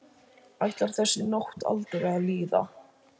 Ætlaði þessi nótt aldrei að líða?